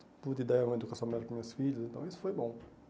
Pude dar uma educação melhor para os meus filhos, então isso foi bom.